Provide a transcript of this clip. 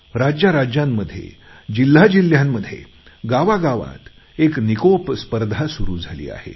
राज्याराज्यांमध्ये जिल्ह्याजिल्ह्यामध्ये गावागावात एक निकोप स्पर्धा सुरु झाली आहे